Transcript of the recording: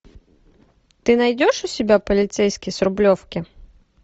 ты найдешь у себя полицейский с рублевки